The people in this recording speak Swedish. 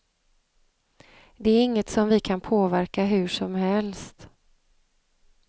Det är inget som vi kan påverka hur som helst.